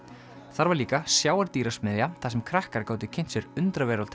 þar var líka þar sem krakkar gátu kynnt sér undraveröld